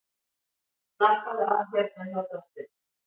Slappaðu af hérna hjá draslinu.